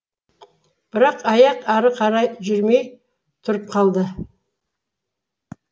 бірақ аяқ әрі қарай жүрмей тұрып қалды